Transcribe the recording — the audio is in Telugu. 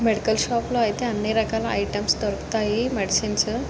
మెడికల్ షాప్ లో ఐతే అన్ని రకాల ఐటమ్స్ దొరుకుతాయి. మెడిసెన్స్ --